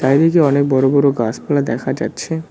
চারিদিকে অনেক বড় বড় গাছপালা দেখা যাচ্ছে।